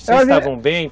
Vocês estavam bem?